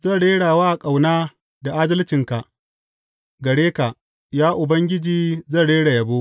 Zan rera wa ƙauna da adalcinka; gare ka, ya Ubangiji, zan rera yabo.